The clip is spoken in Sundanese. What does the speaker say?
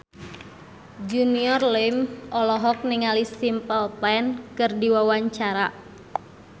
Junior Liem olohok ningali Simple Plan keur diwawancara